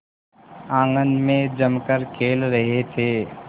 आंगन में जमकर खेल रहे थे